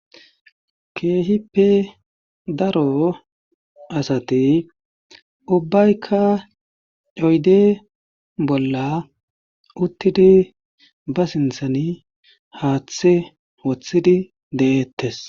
keehippe daro asati ubbaykka oyde bolla uttidi ba sinthani haaththe woththidi de'eettes